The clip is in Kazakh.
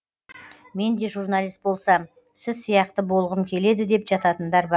мен де журналист болсам сіз сияқты болғым келеді деп жататындар бар